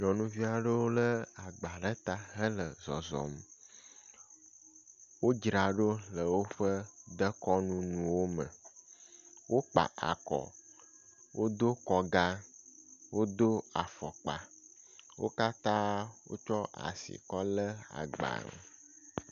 Nyɔnuvi aɖewo le agba ɖe ta hele zɔzɔm. wo dzraɖo le woƒe dekunu nuwo me. Wokpa akɔ, wodo kɔga, wodo afɔkpa, wo katã wotsɔ asi kɔ le agba.